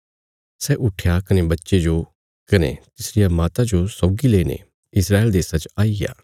सै उट्ठया कने बच्चे जो कने तिसरिया माता जो सौगी लेईने इस्राएल देशा च आईग्या